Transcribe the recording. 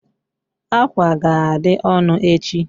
Ákwà ga-adị ọnụ echi.